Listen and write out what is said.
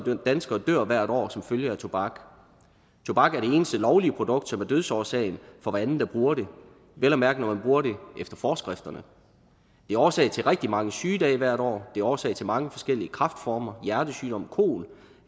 danskere dør hvert år som følge af tobak tobak er det eneste lovlige produkt som er dødsårsagen for hver anden der bruger det vel at mærke når man bruger det efter forskrifterne det er årsag til rigtig mange sygedage hvert år det er årsag til mange forskellige kræftformer hjertesygdomme kol